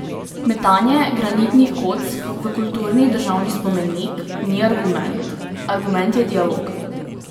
Metanje granitnih kock v kulturni državni spomenik ni argument, argument je dialog.